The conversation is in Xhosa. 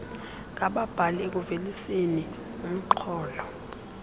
ngababhali ekuveliseni urnxholo